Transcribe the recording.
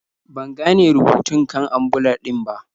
Ban gane rubutun kan ambulan din ba.